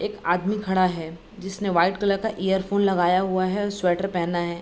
एक आदमी खड़ा है जिसने वाइट कलर का इयरफोन लगाया है और स्वेटर पहना है।